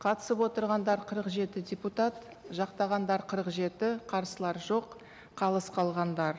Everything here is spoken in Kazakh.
қатысып отырғандар қырық жеті депутат жақтағандар қырық жеті қарсылар жоқ қалыс қалғандар